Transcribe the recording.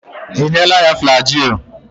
Ị nyela ya Flajịl?